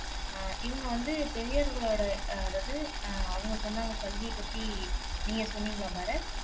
அஹ் இவங்க வந்து பெரியவர்களோட அதாவது அவங்க சொன்னாங்க கல்வியைப் பத்தி நீங்க சொன்னீங்களா பரத்